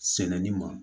Sɛnɛni ma